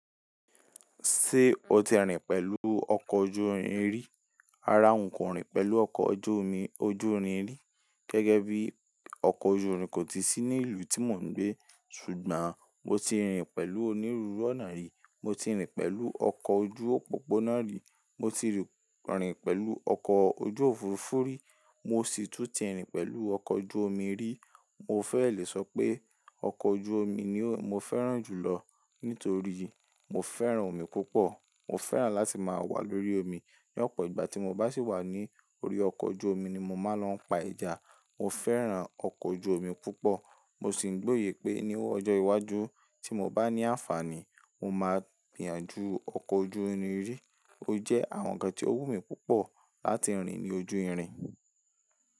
Ṣé o ti rìn pẹ̀lú ọkọ̀ ojú irin rí? Rárá, n kò rìn pẹ̀lú ọkọ̀ ojú omi, ojú irin rí. Gẹ́gẹ́ bí ọkọ̀ ojú irin kò tí sí ní ìlú tí mò ń gbé. Ṣùgbọ́n mo ti rìn pẹ̀lú onírúurú ọ̀nà rí. Mo ti rìn pẹ̀lú ọkọ̀ ojú òpópónà rí, mo ti rìn pẹ̀lú ọkọ̀ ojú Òfurufú rí, mo sì tún ti rìn pẹ̀lú ọkọ̀ ojú omi rí. Mo fẹ́ lè sọ pé ọkọ̀ ojú omi ni mo fẹ́ràn jù lọ nítorí mo fẹ́ràn omi púpọ̀. Mo fẹ́ràn láti máa wà lórí omi. Ni ọ̀pọ̀ ìgbà tí mo bá sì wà ní orí ọkọ̀ ojú omi ni mo máa ń lọ pa ẹja. Mo fẹ́ràn ọkọ̀ ojú omi púpọ̀. Mo sì ń gbọ́yè pé ní ọjọ́ iwájú tí mo bá ní àǹfààní, mo máa gbìyànjú ọkọ̀ ojú irin yi. Ó jẹ́ àwọn ǹkan tí ó wù mí púpọ̀ láti rìn ní ojú irin.